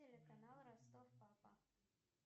телеканал ростов папа